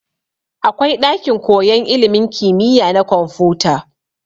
Akwai ɗakin koyan ilimin kimiya na kwamfuta.